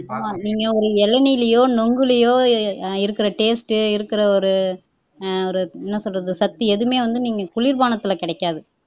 ஆனா நீங்க ஒரு இளநீர்லயோ நுங்குலையோ இருக்கிற taste இருக்கிற ஒரு என்ன சொல்றது அஹ் சத்து எதுமே வந்து குளிர்பானத்துல கிடைக்காது